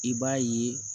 I b'a ye